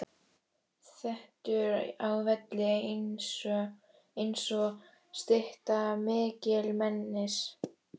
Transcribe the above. Þéttur á velli einsog stytta mikilmennis.